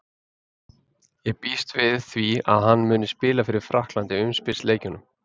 Ég býst við því að hann muni spila fyrir Frakkland í umspilsleikjunum.